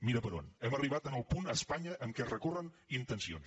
mira per on hem arribat al punt a espanya en què es recorren intencions